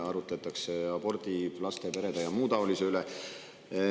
Arutletakse abordi, laste, perede ja muu taolise üle.